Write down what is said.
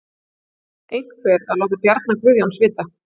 Einhver að láta Bjarna Guðjóns vita?